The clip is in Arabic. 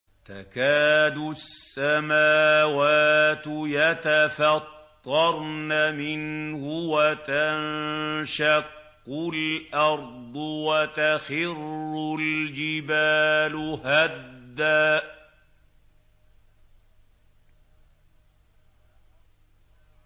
تَكَادُ السَّمَاوَاتُ يَتَفَطَّرْنَ مِنْهُ وَتَنشَقُّ الْأَرْضُ وَتَخِرُّ الْجِبَالُ هَدًّا